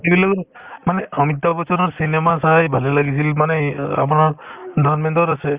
মানে অমিতাভ বচনৰ cinema চাই ভালে লাগিছিল মানে ই আমাৰ ধৰ্মেন্দ্ৰৰ আছে